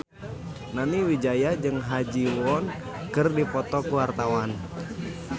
Nani Wijaya jeung Ha Ji Won keur dipoto ku wartawan